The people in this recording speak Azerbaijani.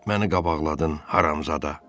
Məni qabaqladın haramzada.